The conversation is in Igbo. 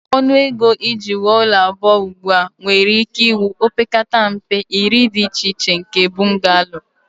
Ọnụ ego iji wuo ụlọ abụọ ugbu a nwere ike wuo opekata mpe iri dị iche iche nke bungalow